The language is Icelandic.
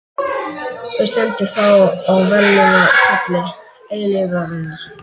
Hver stendur þá á verðlaunapalli eilífðarinnar?